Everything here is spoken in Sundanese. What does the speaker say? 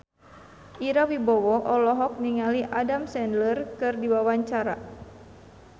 Ira Wibowo olohok ningali Adam Sandler keur diwawancara